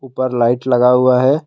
ऊपर लाइट लगा हुआ है।